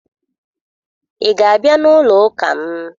Ị ga-abịa n'ụlọ ụka m?